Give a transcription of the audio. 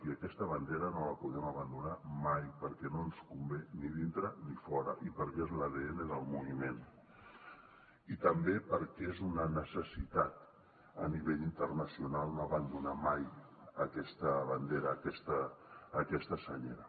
i aquesta bandera no la podem abandonar mai perquè no ens convé ni dintre ni fora i perquè és l’adn del moviment i també perquè és una necessitat a nivell internacional no abandonar mai aquesta bandera aquesta senyera